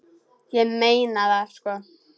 Ég meina það, sko.